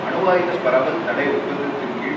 அணுவாயுத பரவல் தடை ஒப்பந்தத்தின் கீழ்